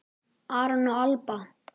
Aron og Alba.